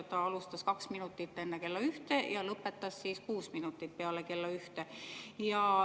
Ta alustas kaks minutit enne kella ühte ja lõpetas kuus minutit peale kella ühte.